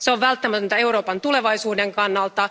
Se on välttämätöntä Euroopan tulevaisuuden kannalta.